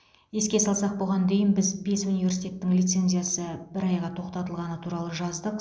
еске салсақ бұған дейін біз бес университеттің лицензиясы бір айға тоқтатылғаны туралы жаздық